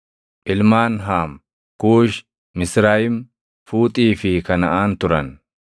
Ilmaan Haam: Kuushi, Misrayim, Fuuxii fi Kanaʼaan turan.